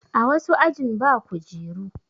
A wasu ajin ba kujeru.